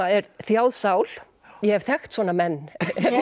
er þjáð sál ég hef þekkt svona menn